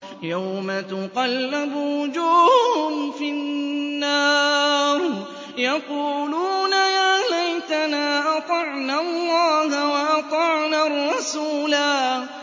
يَوْمَ تُقَلَّبُ وُجُوهُهُمْ فِي النَّارِ يَقُولُونَ يَا لَيْتَنَا أَطَعْنَا اللَّهَ وَأَطَعْنَا الرَّسُولَا